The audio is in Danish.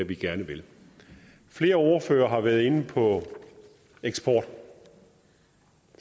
vi gerne vil flere ordførere har været inde på eksport